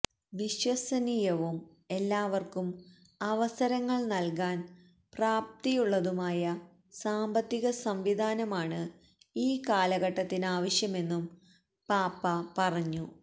വിശ്വസനീയവും എല്ലാവർക്കും അവസരങ്ങൾ നൽകാൻ പ്രാപ്തിയുള്ളതുമായ സാമ്പത്തിക സംവിധാനമാണ് ഈ കാലഘട്ടത്തിനാവശ്യമെന്നും പാപ്പ പറഞ്ഞു